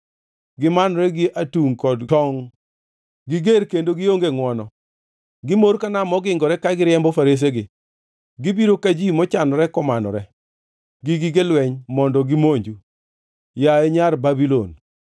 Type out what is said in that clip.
Gimanore gi atungʼ kod tongʼ; giger kendo gionge ngʼwono. Gimor ka nam mogingore ka giriembo faresegi; gibiro ka ji mochanore komanore gi gige lweny mondo gimonju, yaye Nyar Babulon.